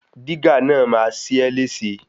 Dígà náà máa ṣe é léṣe.